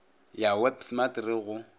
ya web smart re go